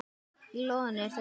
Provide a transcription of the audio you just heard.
Í ljóðinu eru þessar línur